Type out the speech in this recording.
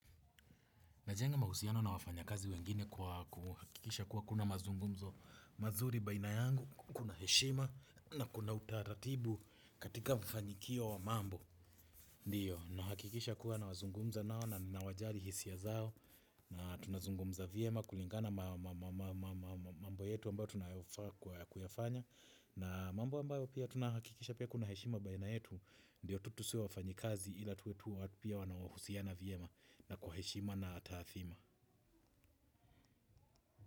Najenga mahusiano na wafanya kazi wengine kwa kuhakikisha kuwa kuna mazungumzo mazuri baina yangu, kuna heshima na kuna utaratibu katika mfanikio wa mambo. Ndiyo, nahakikisha kuwa nawazungumza nao na nawajali hisia zao na tunazungumza vyema kulingana mambo yetu ambayo tunayofaa kuyafanya na mambo ambayo pia tunahakikisha pia kuna heshima baina yetu ndiyo tutusiwe wafanyikazi ila tuwe tuwa pia wanawahusiana vyema na kwa heshima na taadhima.